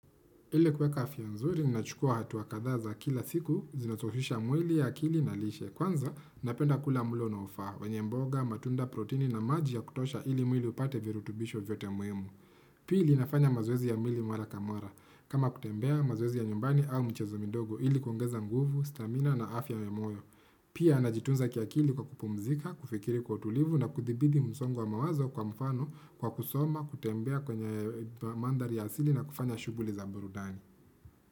Ile kuweka afia nzuri, ninachukua hatu kadhaa za kila siku, zinatoshisha mwili ya akili na lishe. Kwanza, napenda kula mulo onaofaa, wanye mboga, matunda protini na maji ya kutosha ili mwili upate virutubisho vyote muhimu. Pili, nafanya mazoezi ya mwili mara kamara. Kama kutembea, mazoezi ya nyumbani au michezo mindogo ili kwangeza nguvu, stamina na afya ya moyo. Pia, najitunza kiakili kwa kupumzika, kufikiri kwa utulivu na kuthibidi msongo wa mawazo kwa mfano kwa kusoma, kutembea kwenye mandhari ya asili na kufanya shuguli za burudani.